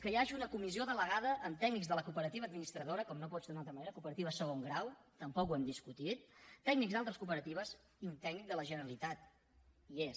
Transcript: que hi hagi una comissió delegada amb tècnics de la cooperativa administradora com no pot ser d’una altra manera cooperatives de segon grau tampoc ho hem discutit tècnics d’altres cooperatives i un tècnic de la generalitat hi és